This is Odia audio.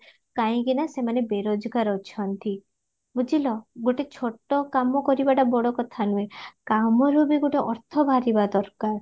କାଇଁକି ନାଁ ସେ ବେରୋଜଗାର ଅଛନ୍ତି ବୁଝିଲା ଗୋଟେ ଛୋଟ କାମ କରିବାଟା ବଡ କଥା ନୁହେ କାମରୁ ବି ଗୋଟେ ଅର୍ଥ ବାହାରିବା ଦରକାର